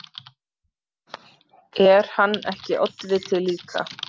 Er hann ekki oddviti líka?